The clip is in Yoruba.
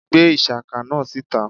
gbe ishaka náá sítá!